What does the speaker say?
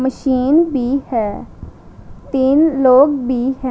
Machine भी है तीन लोग भी हैं।